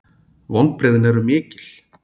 Vonbrigðin eru mikil